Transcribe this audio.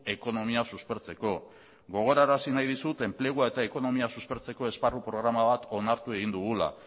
ekonomia suspertzeko gogorarazi nahi dizut enplegua eta ekonomia suspertzeko esparru programa bat onartu egin dugula